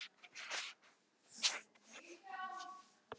Já, það kyngir niður, sagði hann.